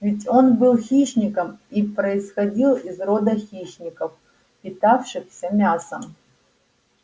ведь он был хищником и происходил из рода хищников питавшихся мясом